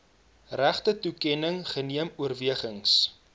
regtetoekenning geneem oorwegings